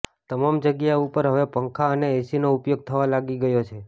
તમામ જગ્યાઓ ઉપર હવે પંખા અને એસીનો ઉપયોગ થવા લાગી ગયો છે